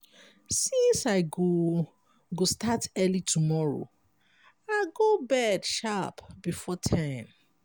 since i go go start early tomorrow i go bed sharp before ten.